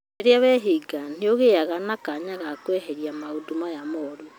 Rĩrĩa weehinga nĩ ũgĩaga na kanya ga kweheria maũndũ maya moru